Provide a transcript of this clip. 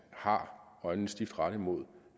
har øjnene stift rettet mod